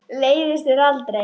Leiðist þér aldrei?